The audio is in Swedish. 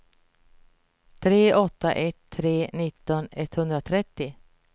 tre åtta ett tre nitton etthundratrettio